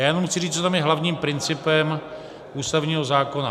Já jenom chci říct, co tam je hlavním principem ústavního zákona.